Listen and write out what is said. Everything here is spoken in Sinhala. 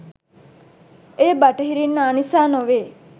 එය බටහිරින් ආ නිසා නොවේ